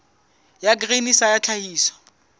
ya grain sa ya tlhahiso